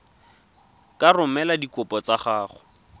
ka romela dikopo tsa gago